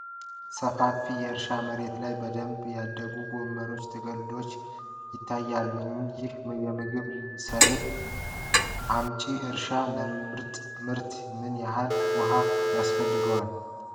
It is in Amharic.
ሰፋፊ የእርሻ መሬት ላይ በደንብ ያደጉ ጎመን ቅጠሎች ይታያሉ። ይህ የምግብ ሰብል አምጪ እርሻ ለምርጥ ምርት ምን ያህል ውሃ ይፈልጋል?